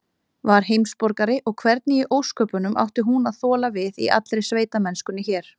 Var heimsborgari, og hvernig í ósköpunum átti hún að þola við í allri sveitamennskunni hér?